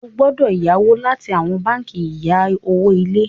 o gbọdọ yawọ láti awọn bánkì ìya owo ilé.